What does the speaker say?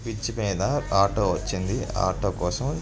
Bridge మీద auto వచ్చింది. Auto కోసం--